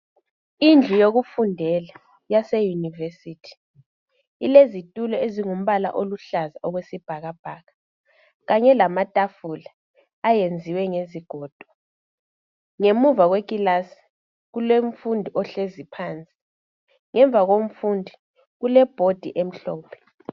Indlu yokufundela yaseyunivesithi, ilezithulo elozombala oluhlaza okwesbhakabhaka. Khanye lamathafula eyenziwe ngezigondo. Ngemuva kwekilasi kulomfundi ohlezi phansi. Ngemuva komfundi kule bhodi emhlophe.